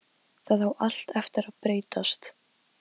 Það á allt eftir að breytast!